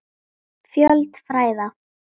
Fjöld fræða